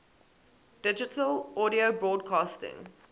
digital audio broadcasting